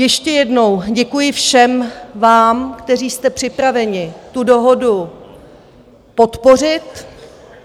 Ještě jednou děkuji všem, vám, kteří jste připraveni tu dohodu podpořit.